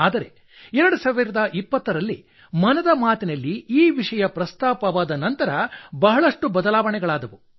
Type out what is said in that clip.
ಆದರೆ 2020 ರಲ್ಲಿ ಮನದ ಮಾತಿನಲ್ಲಿ ವಿಷಯ ಪ್ರಸ್ತಾಪವಾದ ನಂತರ ಬಹಳಷ್ಟು ಬದಲಾವಣೆಗಳಾದವು